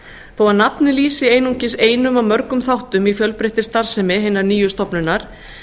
þó að nafnið lýsi einungis einum af mörgum þáttum í fjölbreyttri starfsemi hinnar nýju stofnunar